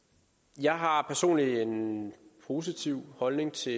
jeg har personligt en positiv holdning til